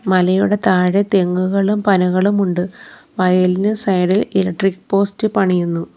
മലയുടെ താഴെ തെങ്ങുകളും പനകളും ഉണ്ട് വയലിന് സൈഡ് ഇൽ ഇലക്ട്രിക് പോസ്റ്റ് പണിയുന്നു.